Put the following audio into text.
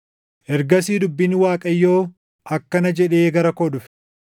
Ergasii dubbiin Waaqayyoo akkana jedhee gara koo dhufe;